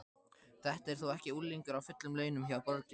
Þetta er þó ekki unglingur á fullum launum hjá borginni?